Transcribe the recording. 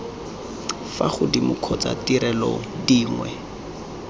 fa godimo kgotsa ditirelo dinngwe